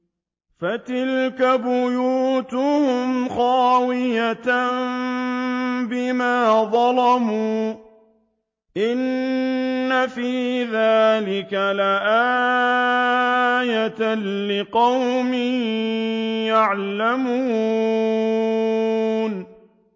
فَتِلْكَ بُيُوتُهُمْ خَاوِيَةً بِمَا ظَلَمُوا ۗ إِنَّ فِي ذَٰلِكَ لَآيَةً لِّقَوْمٍ يَعْلَمُونَ